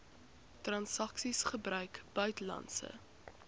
transaksies gebruik buitelandse